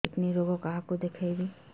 kidney ରୋଗ କାହାକୁ ଦେଖେଇବି